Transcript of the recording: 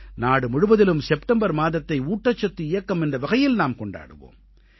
நாடு முழுவதிலும் செப்டெம்பர் மாதத்தை ஊட்டச்சத்து இயக்கம் என்ற வகையில் நாம் கொண்டாடுவோம்